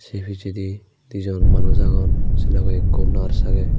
se pisendi dijon manuj agon sey logey ikko nars agey.